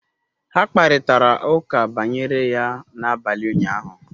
Ha kparịtara ụka banyere ya n'abalị ụnyahụ